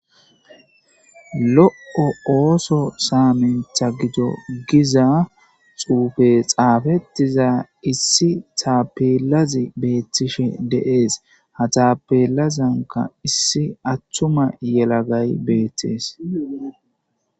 lo7o ooso saamenta gito giza xuufe xaafettiza issi taapelazi beettishe deees ha taapelazanka issi attuma yelagay beettees